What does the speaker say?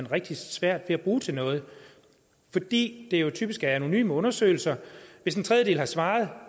rigtig svært ved at bruge til noget fordi det jo typisk er anonyme undersøgelser hvis en tredjedel har svaret